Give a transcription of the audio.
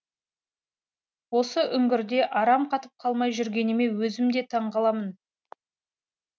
осы үңгірде арам қатып қалмай жүргеніме өзім де таңғаламын